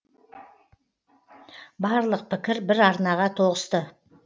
барлық пікір бір арнаға тоғысты